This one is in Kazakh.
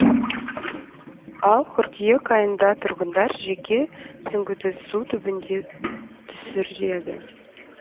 ал қыркүйек айында тұрғындар жеке сүңгудусі түбінде түсіреді